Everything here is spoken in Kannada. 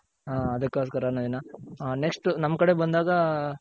ಹ ಅದ್ಕೊಸ್ಕರ ನವೀನ ಹ next ನಮ್ ಕಡೆ ಬಂದಾಗ